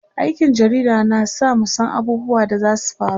aikin jarida na sa mu San abubuwan da zasu faru